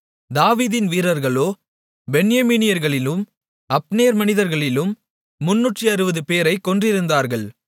தாவீதின் வீரர்களோ பென்யமீனியர்களிலும் அப்னேரின் மனிதர்களிலும் 360 பேரைக் கொன்றிருந்தார்கள்